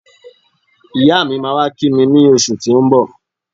Iya mi máa wá kí mi ní oṣù tí ó ń bọ̀